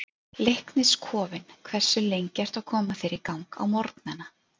Leiknis kofinn Hversu lengi ertu að koma þér í gang á morgnanna?